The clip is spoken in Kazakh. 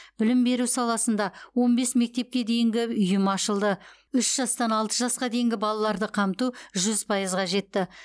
білім беру саласында он бес мектепке дейінгі ұйым ашылды үш жастан алты жасқа дейінгі балаларды қамту жүз пайызға жетті